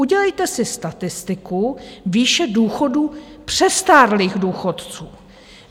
Udělejte si statistiku výše důchodů přestárlých důchodců.